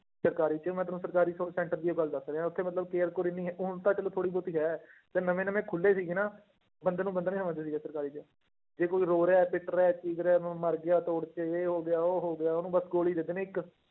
ਸਰਕਾਰੀ 'ਚ ਮੈਂ ਤੈਨੂੰ ਸਰਕਾਰੀ ਸ~ center ਦੀ ਇਹ ਗੱਲ ਦੱਸ ਰਿਹਾਂ ਉੱਥੇ ਮਤਲਬ care ਕੂਅਰ ਇੰਨੀ, ਹੁਣ ਤਾਂ ਚਲੋ ਥੋੜ੍ਹੀ ਬਹੁਤੀ ਹੈ, ਜਦ ਨਵੇਂ ਨਵੇਂ ਖੁੱਲੇ ਸੀਗੇ ਨਾ, ਬੰਦੇ ਨੂੰ ਬੰਦਾ ਨੀ ਸਮਝਦੇ ਸੀਗੇ ਸਰਕਾਰੀ 'ਚ, ਜੇ ਕੋਈ ਰੋ ਰਿਹਾ, ਪਿੱਟ ਰਿਹਾ, ਚੀਖ ਰਿਹਾ, ਮ~ ਮਰ ਗਿਆ ਤੋੜ 'ਚ, ਇਹ ਹੋ ਗਿਆ, ਉਹ ਹੋ ਗਿਆ ਉਹਨੂੰ ਬਸ ਗੋਲੀ ਦੇ ਦੇਣੀ ਇੱਕ